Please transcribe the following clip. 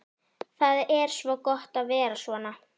Það er svo gott að vera svona.